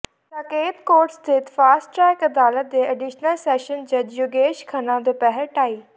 Saket court ਸਥਿਤ fast track ਅਦਾਲਤ ਦੇ ਐਡੀਸ਼ਨਲ ਸੈਸ਼ਨ ਜੱਜ ਯੋਗੇਸ਼ ਖੰਨਾ ਦੁਪਹਿਰ ਢਾਈ